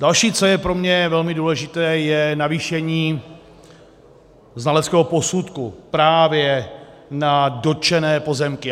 Další, co je pro mě velmi důležité, je navýšení znaleckého posudku právě na dotčené pozemky.